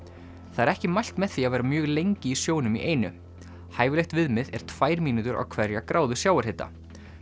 það er ekki mælt með því að vera mjög lengi í sjónum í einu hæfilegt viðmið er tvær mínútur á hverja gráðu sjávarhita